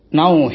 O my god